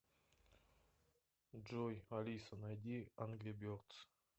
джой алиса найди ангри бердс